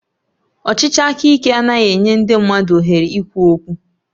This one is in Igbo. Ọchịchị aka ike adịghị enye ndị mmadụ ohere ikwu okwu